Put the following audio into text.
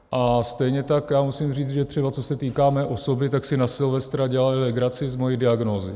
A stejně tak já musím říct, že třeba co se týká mé osoby, tak si na Silvestra dělali legraci z mojí diagnózy.